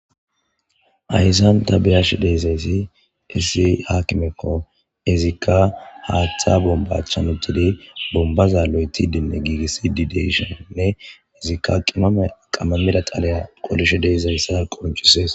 ayssanta biyash deezayssi issi hakimekko izikka haaththa bombachan uttidi bombaza lo7eti dinne giigissi dideysheinne izikka qimome qammamida xaleya qolishe deezayssa qoncisees